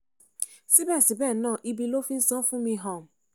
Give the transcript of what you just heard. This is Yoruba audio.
síbẹ̀síbẹ̀ náà ibi ló fi ń san án fún mi um